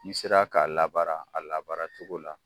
N'i sera k'a labaara a labaara cogo la.